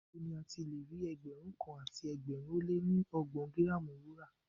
Níbo ni a ti lè rí Ẹgbẹ̀rún kan àti ẹgbẹ̀rin ó lé ní ọgbọ̀n gírámù Wúrà?